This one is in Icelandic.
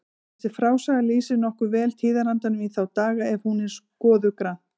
Þessi frásaga lýsir nokkuð vel tíðarandanum í þá daga ef hún er skoðuð grannt.